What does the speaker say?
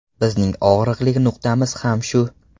Bizning og‘riqli nuqtamiz ham shu.